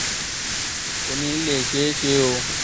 kò ní í lè ṣeé ṣe o